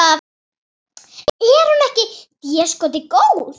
Er hún ekki déskoti góð?